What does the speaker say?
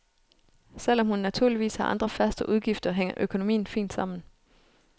Selv om hun naturligvis har andre faste udgifter, hænger økonomien fint sammen.